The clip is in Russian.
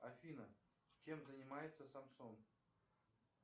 афина чем занимается самсон